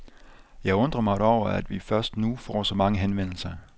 Jeg undrer mig over, at vi først nu får så mange henvendelser.